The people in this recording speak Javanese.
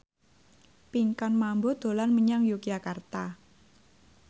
Pinkan Mambo dolan menyang Yogyakarta